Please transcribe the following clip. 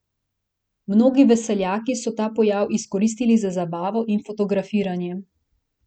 Mnogi veseljaki so ta pojav izkoristili za zabavo in fotografiranje.